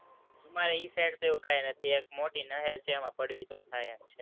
અમારે એ side તો એવું કઈ નથી, એક મોટી નહેર છે, એમાં પડવી તો થાય એમ છે.